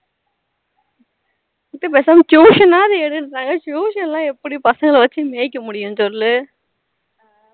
பேசாம tuition ஆவது எடுந்னூறாங்க tuition னா எப்படி பசங்கள வச்சி மேய்க்க முடியும் சொல்லு